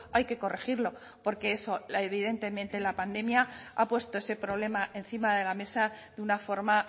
hay que corregirlo porque eso evidentemente la pandemia ha puesto ese problema encima de la mesa de una forma